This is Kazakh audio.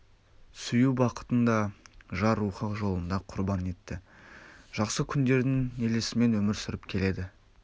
сүю бақытын да жар рухы жолында құрбан етті жақсы күндердің елесімен өмір сүріп келеді